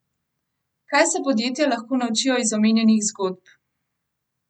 Kaj se podjetja lahko naučijo iz omenjenih zgodb?